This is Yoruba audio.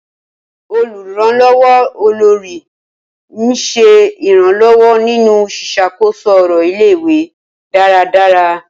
Olùrànlọ́wọ́ Olórí ń ṣe ìrànlọ́wọ́ nínú ṣíṣàkóso ọ̀rọ̀ ilé-ìwé dáradára.